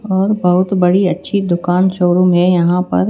और बहुत बड़ी अच्छी दुकान शोरूम है यहां पर--